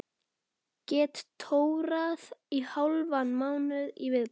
Get tórað í hálfan mánuð í viðbót.